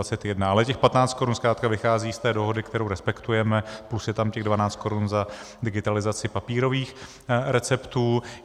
Ale těch 15 korun zkrátka vychází z té dohody, kterou respektujeme, plus je tam těch 12 korun za digitalizaci papírových receptů.